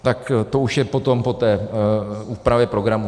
Tak to už je potom po té úpravě programu.